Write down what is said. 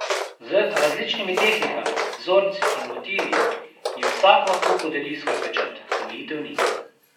Z različnimi tehnikami, vzorci in motivi jim vsak lahko podeli svoj pečat, omejitev ni.